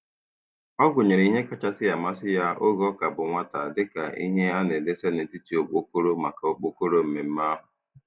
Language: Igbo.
Ọ gụnyere ihe kachasị amasị ya oge ọ ka bụ nwata dị ka ihe a na-edesa n'etiti okpokoro maka okpokoro mmemme ahụ.